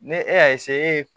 Ne e y'a e ye